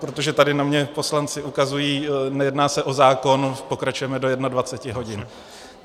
Protože tady na mě poslanci ukazují - nejedná se o zákon, pokračujeme do 21. hodin.